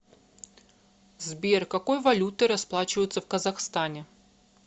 сбер какой валютой расплачиваются в казахстане